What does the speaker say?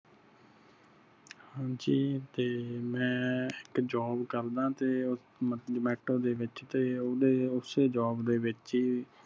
ਹਾਂਜੀ ਤੇ ਮੈਂ ਇਕ job ਕਰਦਾ ਤੇ zomato ਦੇ ਵਿਚ ਤੇ ਉਹਦੇ ਉਸੇ job ਦੇ ਵਿਚ ਹੀ